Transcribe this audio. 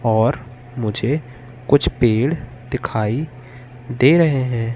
और मुझे कुछ पेड़ दिखाई दे रहे हैं।